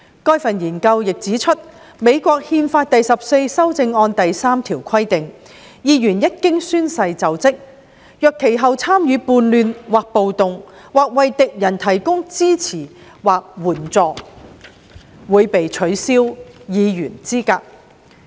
該份研究文件亦指出，美國憲法第十四修正案第3條規定，議員一經宣誓就職，若其後"參與叛亂或暴動"或"為敵人提供支持或援助"，會被取消議員資格。